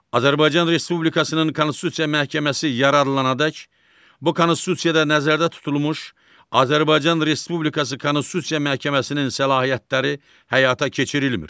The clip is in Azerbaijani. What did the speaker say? Azərbaycan Respublikasının Konstitusiya Məhkəməsi yaradılandək bu Konstitusiyada nəzərdə tutulmuş Azərbaycan Respublikası Konstitusiya Məhkəməsinin səlahiyyətləri həyata keçirilmir.